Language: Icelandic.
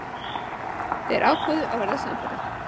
Þeir ákváðu að verða samferða.